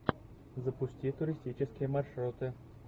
запусти туристические маршруты